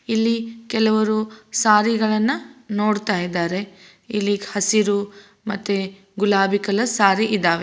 ಇಲ್ಲಿ ಕೆಲವರು ಸಾರಿ ಗಳನ್ನ ನೋಡ್ತಾಯಿದಾರೆ ಇಲ್ಲಿ ಹಸಿರು ಮತ್ತೆ ಗುಲಾಬಿ ಕಲರ್ ಸಾರಿ ಇದಾವೆ